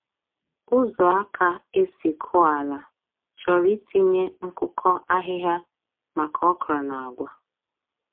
Ụzọ aka esi kụọ ala chọrọ itinye nkụkọ ahịhịa maka okra na agwa.